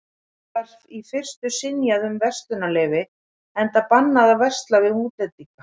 Þeim var í fyrstu synjað um verslunarleyfi, enda bannað að versla við útlendinga.